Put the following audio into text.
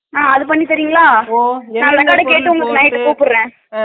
அஹ அது மோதல்ல பண்ணிதரிங்களா